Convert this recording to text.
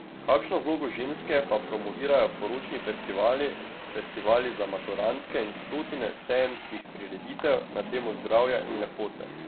Kakšno vlogo ženske pa promovirajo poročni festivali, festivali za maturantke in stotine sejemskih prireditev na temo zdravja in lepote?